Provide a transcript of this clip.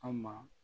An ma